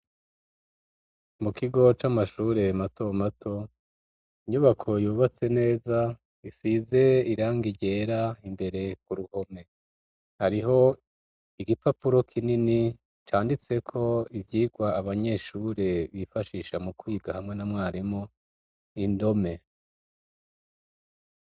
Mu kigo c'amashure mato mato, inyubako yubatse neza isize irangi ryera imbere ku ruhome. Hriho igipapuro kinini canditse ko ivyigwa abanyeshure bifashisha mu kwiga hamwe na mwarimu, indome.